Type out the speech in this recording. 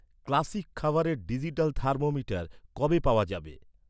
Classic খাবারের digital thermometer কবে পাওয়া যাবে?